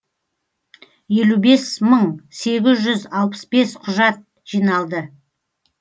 елу бес мың сегіз жүз алпыс бес құжат жиналды